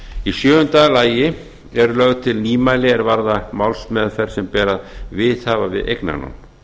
í sjöunda lagi eru lögð til nýmæli er varða málsmeðferð sem ber að viðhafa við eignarnám